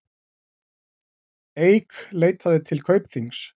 Eik leitaði til Kaupþings